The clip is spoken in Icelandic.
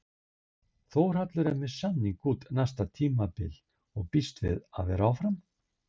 Þórhallur er með samning út næsta tímabil og býst við að vera áfram?